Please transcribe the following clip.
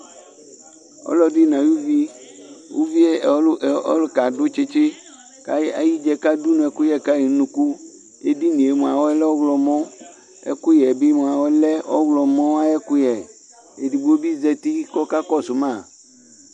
ɔlɔdi nayuʋi uʋie ɔɔlukɛ adu tsitsi kakayidza kadunu ɛkuyɛkayi nunuku edinie mua lɔhlɔmɔ ɛkuyɛbi mua ɔlɛ ɔhlɔmɔ ayèkuyè edigbobi zati kɔkakɔsu ma